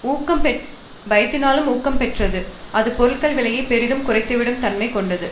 ஊக்கம் பெற் பயத்தினாலும் ஊக்கம் பெற்றது அது பொருட்கள் விலைகளை பெரிதும் குறைத்துவிடும் தன்மை கொண்டது